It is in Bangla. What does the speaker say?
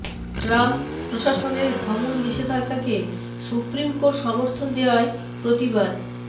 ট্রাম্প প্রশাসনের ভ্রমণ নিষেধাজ্ঞাকে সুপ্রিম কোর্ট সমর্থন দেয়ায় প্রতিবাদ